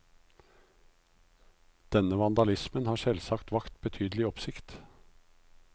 Denne vandalismen har selvsagt vakt betydelig oppsikt.